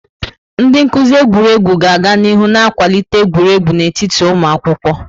Ndị nkuzi egwuregwu ga-aga n'ihu na-akwalite egwuregwu n'etiti ụmụ akwụkwọ.